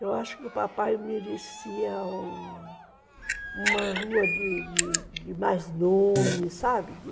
Eu acho que o papai merecia uma rua de de de mais nome, sabe?